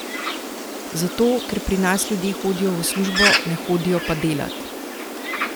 Zato, ker pri nas ljudje hodijo v službo, ne hodijo pa delat!